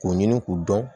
K'u ɲini k'u dɔn